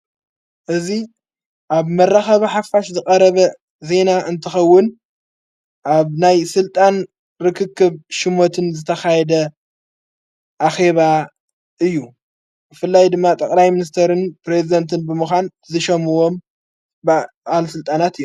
እዙ ኣብ መራኸባ ሓፋሽ ዝቐረበ ዜና እንትኸውን ኣብ ናይ ሥልጣን ርክክብ ሽሞትን ዝተኻየደ ኣኼባ እዩ ፍላይ ድማ ጠቕላይ ምንስተርን ጵሬዝደንትን ብምዃን ዝሸምዎም ብኣል ሥልጣናት እዩ።